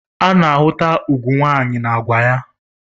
Ana-ahụta ugwu nwanyị na agwa ya